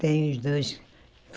Tem os dois.